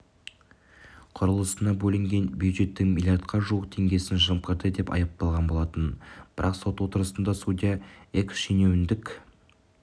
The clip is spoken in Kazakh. құрылысына бөлінген бюджеттің милиардқа жуық теңгесін жымқырды деп айыпталған болатын бірақ сот отырысында судья экс-шенеунік